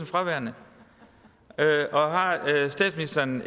fraværende og har statsministeren